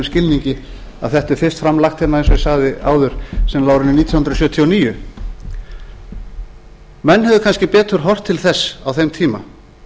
skilningi að þetta er fyrst framlagt hérna eins og ég sagði áður sennilega á árinu nítján hundruð sjötíu og níu menn hefðu kannski betur horft til þess á þeim tíma